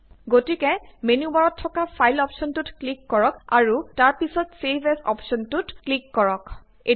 গতিকে মেনু বাৰত থকা ফাইল অপ্শ্বনটোত ক্লিক কৰক আৰু তাৰ পিছত ছেভ এজ অপ্শ্বনটোত ক্লিক কৰক